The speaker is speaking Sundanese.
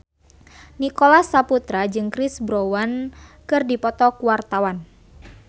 Nicholas Saputra jeung Chris Brown keur dipoto ku wartawan